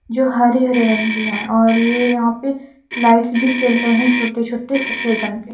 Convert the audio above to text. जो हरे हरे रंग की है और ये यहां पे लाइट्स भी चल रहे है छोटे छोटे सफेद रंग के--